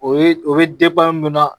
O ye o be mun na